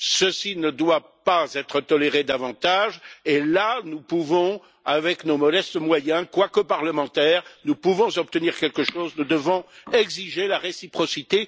Ceci ne doit pas être toléré davantage, et là nous pouvons, avec nos modestes moyens, quoique parlementaires, obtenir quelque chose nous devons exiger la réciprocité.